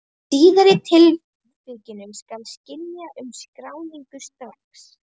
Í síðari tilvikinu skal synja um skráningu strax.